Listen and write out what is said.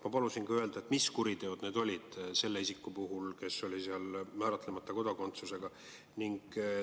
Ma palusin tema kohta öelda ka seda, mis kuriteod need olid – selle isiku puhul, kes oli määratlemata kodakondsusega.